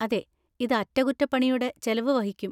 അതെ, ഇത് അറ്റകുറ്റപ്പണിയുടെ ചെലവ് വഹിക്കും.